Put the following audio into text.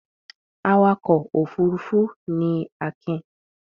Awakọ̀ òfurufú ni Akin.